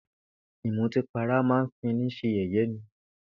Ìmutípara máa ń fini s̩e yè̩yé̩ ni